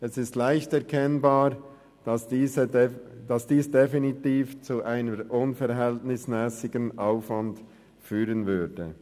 Es ist leicht erkennbar, dass dies definitiv zu einem unverhältnismässigen Aufwand führen würde.